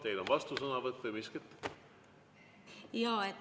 Teil on vastusõnavõtt või miskit?